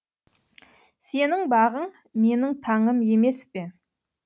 сенің бағың менің таңым емес пе